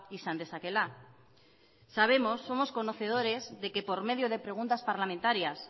izan dezakeela sabemos somos conocedores de que por medio de preguntas parlamentarias